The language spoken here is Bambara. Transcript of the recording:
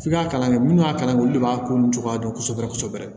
F'i ka kalan kɛ munnu y'a kalan olu de b'a ko cogoya dɔn kosɛbɛ kosɛbɛ